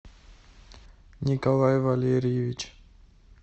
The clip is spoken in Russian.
николай валерьевич